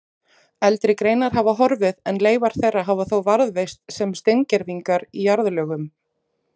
Eldri greinar hafa horfið en leifar þeirra hafa þó varðveist sem steingervingar í jarðlögum.